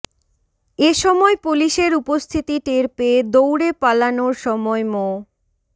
এ সময় পুলিশের উপস্থিতি টের পেয়ে দৌড়ে পালানোর সময় মো